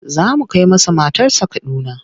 Za mu kai masa matarsa Kaduna.